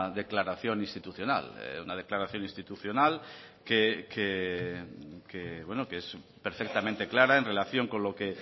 declaración institucional una declaración institucional que es perfectamente clara en relación con lo que